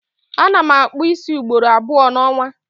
Ana m akpụ ísí ugboro abụọ n'ọnwa